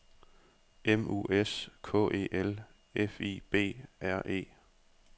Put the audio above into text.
M U S K E L F I B R E